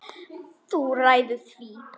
Þú ræður því.